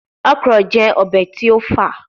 Okra jẹ obe ti o fa